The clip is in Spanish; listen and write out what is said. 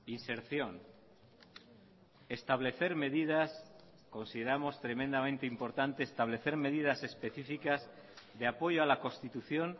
inserción establecer medidas consideramos tremendamente importante establecer medidas específicas de apoyo a la constitución